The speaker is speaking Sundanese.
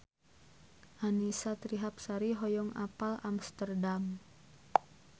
Annisa Trihapsari hoyong apal Amsterdam